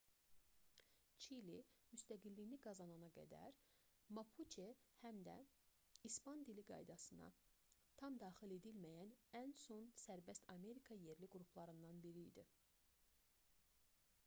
çili müstəqilliyini qazanana qədər mapuçe həm də i̇span-dilli qaydasına tam daxil edilməyən ən son sərbəst amerika yerli qruplarından biri idi